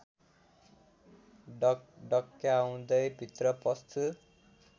ढकढक्याउँदै भित्र पस्छु